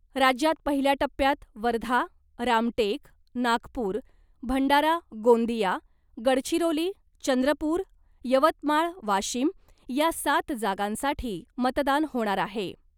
राज्यात पहिल्या टप्प्यात वर्धा , रामटेक , नागपूर , भंडारा गोंदिया , गडचिरोली , चंद्रपूर , यवतमाळ वाशीम या सात जागांसाठी मतदान होणार आहे .